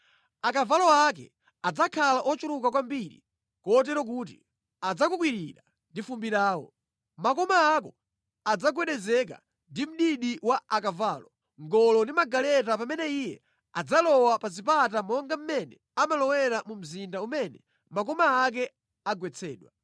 Akavalo ake adzakhala ochuluka kwambiri kotero kuti adzakukwirira ndi fumbi lawo. Makoma ako adzagwedezeka ndi mdidi wa akavalo, ngolo ndi magaleta pamene iye adzalowa pa zipata monga mmene amalowera mu mzinda umene makoma ake agwetsedwa.